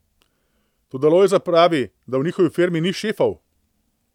Toda Lojze pravi, da v njihovi firmi ni šefov.